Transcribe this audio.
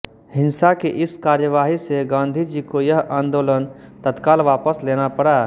हिंसा की इस कार्यवाही से गाँधी जी को यह आन्दोलन तत्काल वापस लेना पड़ा